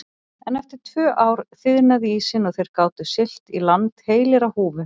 En eftir tvö ár þiðnaði ísinn og þeir gátu siglt í land heilir á húfi.